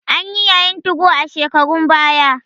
Anyi yayin 2go a shekarun baya.